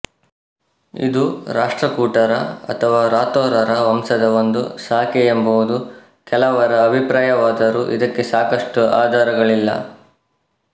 ಇದು ರಾಷ್ಟ್ರಕೂಟರ ಅಥವಾ ರಾಥೋರರ ವಂಶದ ಒಂದು ಶಾಖೆಯೆಂಬುದು ಕೆಲವರ ಅಭಿಪ್ರಾಯವಾದರೂ ಇದಕ್ಕೆ ಸಾಕಷ್ಟು ಆಧಾರಗಳಿಲ್ಲ